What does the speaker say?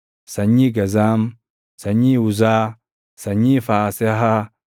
sanyii Gazaam, sanyii Uzaa, sanyii Faasehaa,